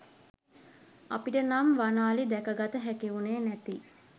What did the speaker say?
අපිට නම් වන අලි දැක ගත හැකිවුණේ නැති